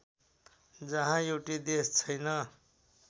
जहाँ एउटै देश छैन